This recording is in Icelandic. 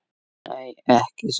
Nei, ekki svo.